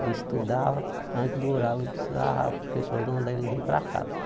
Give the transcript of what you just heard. Ele estudava, antes do horário ele precisava, a professora mandava ele vir para casa.